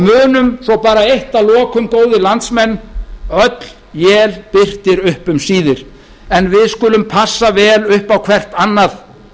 munum svo bara eitt að lokum góðir landsmenn öll él birtir upp um síðir en við skulum passa vel upp á hvert annað